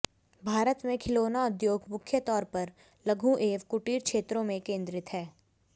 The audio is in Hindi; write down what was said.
भारत में खिलौना उद्योग मुख्य तौर पर लघु एवं कुटीर क्षेत्रों में केंद्रित हैं